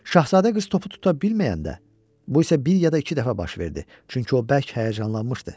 Şahzadə qız topu tuta bilməyəndə, bu isə bir ya da iki dəfə baş verdi, çünki o bərk həyəcanlanmışdı.